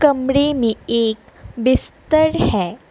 कमरे मे एक बिस्तर है।